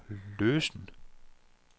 løsen